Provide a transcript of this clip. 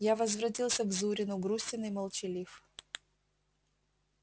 я возвратился к зурину грустен и молчалив